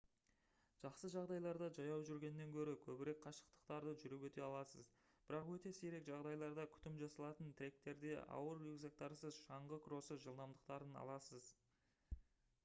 жақсы жағдайларда жаяу жүргеннен гөрі көбірек қашықтықтарды жүріп өте аласыз бірақ өте сирек жағдайларда күтім жасалатын тректерде ауыр рюкзактарсыз шаңғы кроссы жылдамдықтарын аласыз